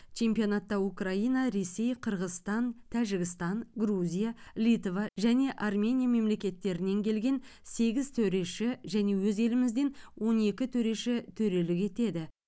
чемпионатта украина ресей қырғызстан тәжікстан грузия литва және армения мемлекеттерінен келген сегіз төреші және өз елімізден он екі төреші төрелік етеді